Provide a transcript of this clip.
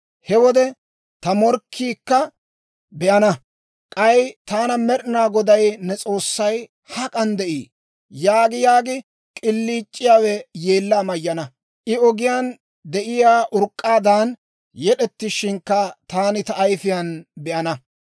He wode ta morkkiikka be'ana; k'ay taana, «Med'ina Goday ne S'oossay hak'an de'ii?» yaagi yaagi k'iliic'iyaawe yeellaa mayyana; I ogiyaan de'iyaa urk'k'aadan yed'ettishinkka taani ta ayifiyaan be'ana.